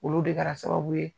Olu de kɛra sababu ye